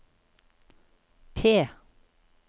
P